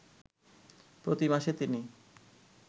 প্রতি মাসে তিনি